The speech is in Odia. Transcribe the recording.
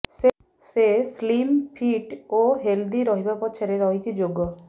ସେ ସ୍ଲିମ୍ ଫିଟ୍ ଓ ହେଲ୍ଦି ରହିବା ପଛରେ ରହିଛି ଯୋଗ